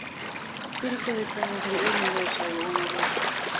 Fyrirgefðu hvað ég hef verið ömurlegur, sagði Jón Ólafur.